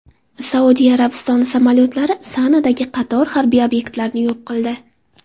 Saudiya Arabistoni samolyotlari Sanadagi qator harbiy obyektlarni yo‘q qildi.